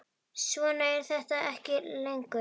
Svona er þetta ekki lengur.